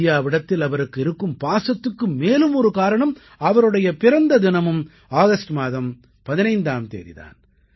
இந்தியாவிடத்தில் அவருக்கு இருக்கும் பாசத்துக்கு மேலும் ஒரு காரணம் அவருடைய பிறந்த தினமும் ஆகஸ்ட் மாதம் 15ஆம் தேதி தான்